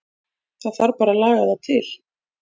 Það þarf bara að laga það til.